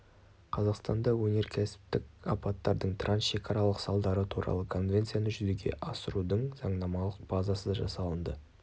қазақстанда өнеркәсіптік апаттардың трансшекаралық салдары туралы конвенцияны жүзеге асырудың заңнамалық базасы жасалынды